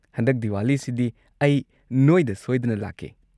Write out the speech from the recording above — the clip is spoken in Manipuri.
ꯍꯟꯗꯛ ꯗꯤꯋꯥꯂꯤꯁꯤꯗꯤ ꯑꯩ ꯅꯣꯏꯗ ꯁꯣꯏꯗꯅ ꯂꯥꯛꯀꯦ꯫